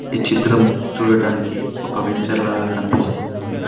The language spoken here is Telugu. ఈ చిత్రం చూడటానికి ఒక వెంచర్ లాగా కనిపిస్తూ ఉన్నది.